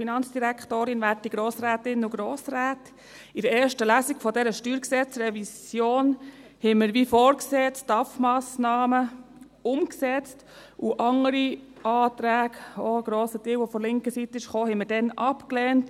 In der ersten Lesung dieser StG-Revision haben wir die STAFMassnahmen, wie vorgesehen, umgesetzt und andere Anträge – ein grosser Teil davon kam auch von linker Seite – abgelehnt.